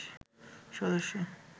সদস্য